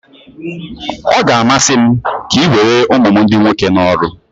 Ọ ga-amasị m ka ị were ụmụ m ndị nwoke n'ọrụ